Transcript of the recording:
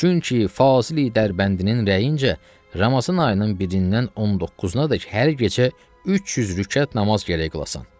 Çünki Fazili Dərbəndinin rəyincə Ramazan ayının birindən 19-adək hər gecə 300 rükət namaz gərək qılasan.